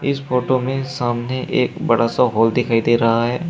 इस फोटो में सामने एक बड़ा सा हॉल दिखाई दे रहा है।